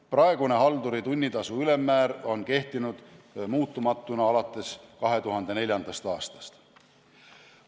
Praegune halduri tunnitasu ülemmäär on kehtinud muutumatuna alates 2004. aastast.